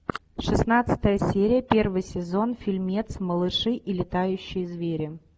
шестнадцатая серия первый сезон фильмец малыши и летающие звери